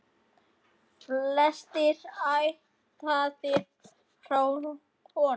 Flestir ættaðir frá honum.